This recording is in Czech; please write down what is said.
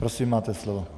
Prosím, máte slovo.